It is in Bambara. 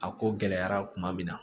A ko gɛlɛyara tuma min na